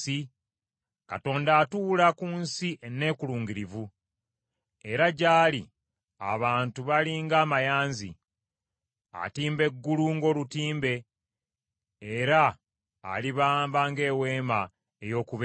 Katonda atuula ku nsi enneekulungirivu, era gy’ali abantu bali ng’amayanzi. Atimba eggulu ng’olutimbe era alibamba ng’eweema ey’okubeeramu.